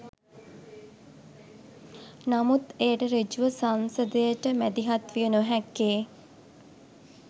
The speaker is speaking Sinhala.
නමුත් එයට ඍජුව සංසදයට මැදිහත් විය නොහැක්කේ